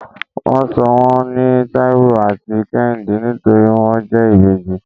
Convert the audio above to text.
wón sò wón ní taiwo atí kehinde nítorí won jẹ ìbejí